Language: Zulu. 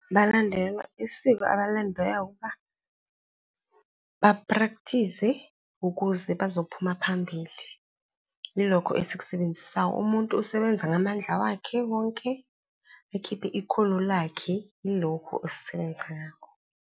Balandelwa isiko ukuba ba-practice-se ukuze bazophuma phambili. Yilokho esikusebenzisayo. Umuntu usebenza ngamandla wakhe wonke, akhiphe ikhono lakhe, ilokhu esisebenza ngakho.